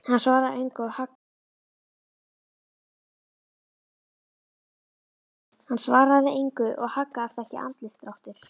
Hann svaraði engu og haggaðist ekki andlitsdráttur.